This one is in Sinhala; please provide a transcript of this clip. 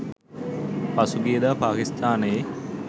පසුගියදා පාකිස්ථානයේ